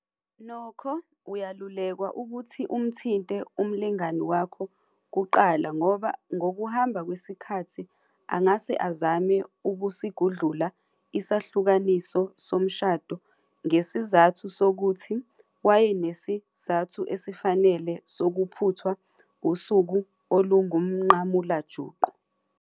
Nokho, uyelulekwa ukuthi umthinte umlingani wakho kuqala ngoba ngokuhamba kwesikhathi angase azame ukusigudlula isahlukaniso somshado ngesizathu sokuthi wayenesizathu esifanele sokuphuthwa usuku olungumnqamulajuqu.